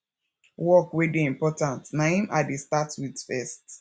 work wey dey important na im i dey start wit first